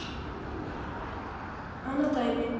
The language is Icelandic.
Annað dæmi